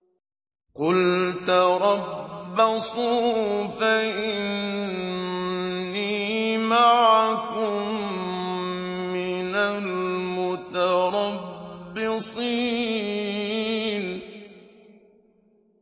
قُلْ تَرَبَّصُوا فَإِنِّي مَعَكُم مِّنَ الْمُتَرَبِّصِينَ